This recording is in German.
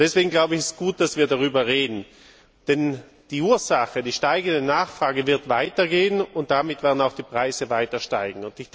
Deswegen ist es gut, dass wir darüber reden, denn die Ursache die steigende Nachfrage wird weiterbestehen und damit werden auch die Preise weiter steigen.